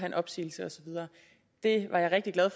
en opsigelse og så videre jeg var rigtig glad